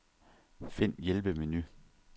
Find hjælpemenu.